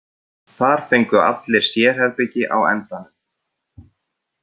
Þar fengu allir sérherbergi á endanum.